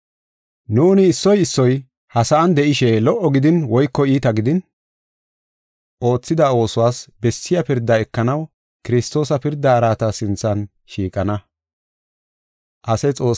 Nuuni issoy issoy ha sa7an de7ishe lo77o gidin woyko iita gidin, oothida oosuwas bessiya pirdaa ekanaw Kiristoosa pirda araata sinthan shiiqana.